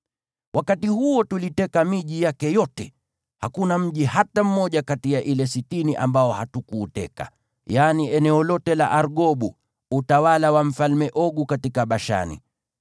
Wakati huo tuliteka miji yake yote. Hakuna mji hata mmoja kati ya ile sitini ambao hatukuuteka, yaani eneo lote la Argobu, utawala wa Mfalme Ogu katika Bashani.